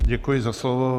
Děkuji za slovo.